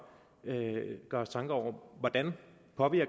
gøre os tanker om hvordan